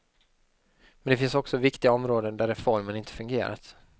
Men det finns också viktiga områden där reformen inte fungerat.